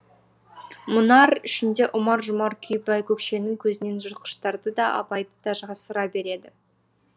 мұнар ішінде ұмар жұмар күй байкөкшенің көзінен жыртқыштарды да абайды да жасыра береді